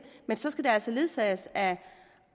men så skal det altså ledsages af